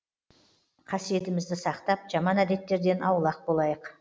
қасиетімізді сақтап жаман әдеттерден аулақ болайық